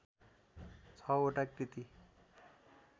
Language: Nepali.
छवटा कृति